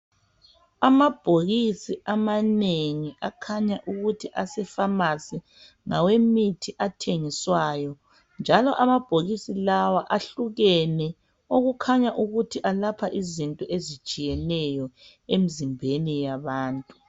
Amabhokisi amanengi akhanya ukuthi asefamasi ngawemithi athengiswayo, njalo amabhokisi lawa ahlukene okukhanya ukuthi alapha izinto ezitshiyeneyo emzimbeni yabantu.